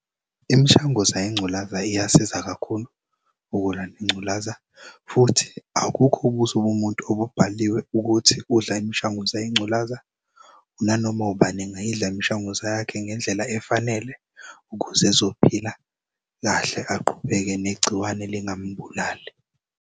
Imishanguzo yengculaza iyasiza kakhulu ukulwa ngculaza futhi abukho ubusob'muntu obubhaliwe ukuthi udla imishanguzo yengculaza nanoma ubani engayidla imishanguzo yakhe ngendlela efanele ukuze ezophila kahle aqhubeke negciwane lingam'bulali.